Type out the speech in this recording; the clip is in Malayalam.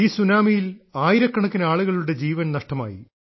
ഈ സുനാമിയിൽ ആയിരക്കണക്കിന് ആളുകളുടെ ജീവൻ നഷ്ടമായി